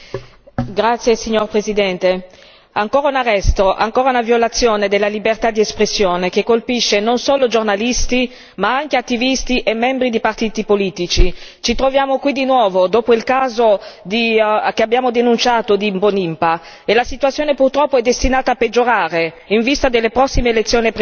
Signor Presidente, onorevoli colleghi, ancora un arresto, ancora una violazione della libertà d'espressione, che colpisce non solo giornalisti ma anche attivisti e membri di partiti politici. Ci troviamo qui di nuovo, dopo il caso di Mbonimpa che abbiamo denunciato, e la situazione purtroppo è destinata a peggiorare in vista delle prossime elezioni presidenziali.